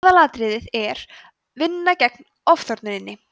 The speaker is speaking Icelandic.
aðalatriðið er að vinna gegn ofþornuninni